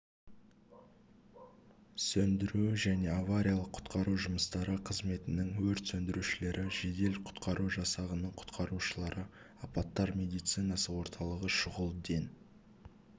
сөндіру және авариялық-құтқару жұмыстары қызметінің өрт сөндірушілері жедел-құтқару жасағының құтқарушылары апаттар медицинасы орталығы шұғыл ден